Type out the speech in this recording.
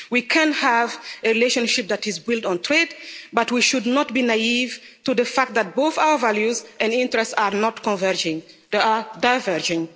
We can have a relationship that is built on trade, but we should not be naive to the fact that both our values and interests are not converging, they are diverging.